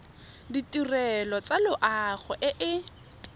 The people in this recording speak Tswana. ditirelo tsa loago e e